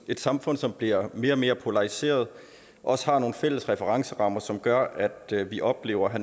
et samfund som bliver mere og mere polariseret også har nogle fælles referencer som gør at vi oplever at